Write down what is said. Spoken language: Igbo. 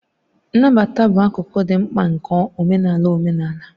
Nnabata bụ akụkụ dị mkpa nke omenala omenala.